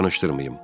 Danışdırmayım.